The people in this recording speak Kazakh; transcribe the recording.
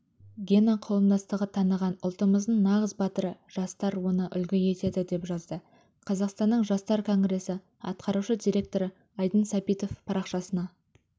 гена қауымдастығы таныған ұлтымыздың нағыз батыры жастар оны үлгі етеді деп жазды қазақстанның жастар конгресі атқарушы директоры айдын сәбитов парақшасына